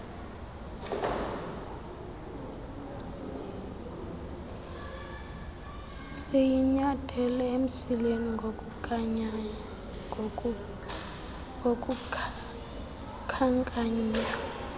siyinyathele emsileni ngokukhankanya